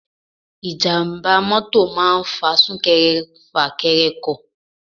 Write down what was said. Ijàmbá mọ́tọ̀ máa ń fa sunkẹrẹ fakẹrẹ ọkọ̀.